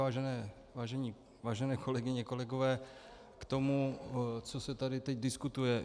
Vážené kolegyně, kolegové, k tomu, co se tady teď diskutuje.